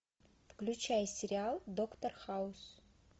включай сериал доктор хаус